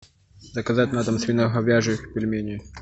заказать на дом свиноговяжьих пельменей